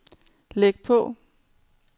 læg på